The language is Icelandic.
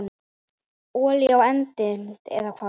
Olía á eldinn, eða hvað?